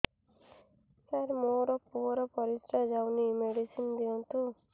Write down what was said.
ସାର ମୋର ପୁଅର ପରିସ୍ରା ଯାଉନି ମେଡିସିନ ଦିଅନ୍ତୁ